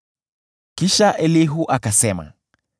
Kisha Elihu akasema: